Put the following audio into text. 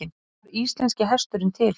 Hvernig varð íslenski hesturinn til?